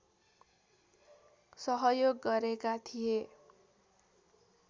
सहयोग गरेका थिए